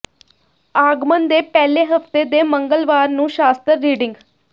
ਆਗਮਨ ਦੇ ਪਹਿਲੇ ਹਫਤੇ ਦੇ ਮੰਗਲਵਾਰ ਨੂੰ ਸ਼ਾਸਤਰ ਰੀਡਿੰਗ